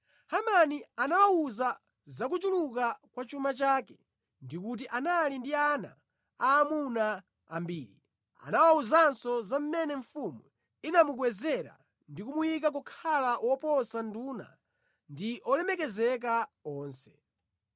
Hamani anawawuza za kuchuluka kwa chuma chake ndi kuti anali ndi ana aamuna ambiri. Anawawuzanso za mmene mfumu inamukwezera ndi kumuyika kukhala woposa nduna ndi olemekezeka onse.